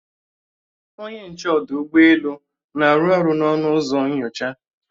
Onye nche ọdụ ụgbọelu na-arụ ọrụ n'ọnụ ụzọ nnyocha